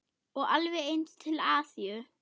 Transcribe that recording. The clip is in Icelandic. Og alveg eins til Asíu.